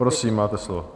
Prosím, máte slovo.